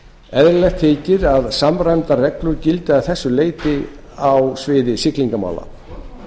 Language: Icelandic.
eðlilegt þykir að samræmdar reglur gildi að þessu leyti á sviði siglingamála